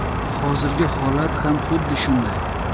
Hozirgi holat ham xuddi shunday.